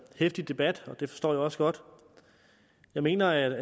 heftig debat og det forstår jeg også godt jeg mener at